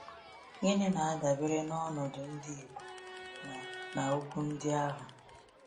Gịnị na-adabere n’ọnọdụ ndị Igbo na na okwu ndị ahụ?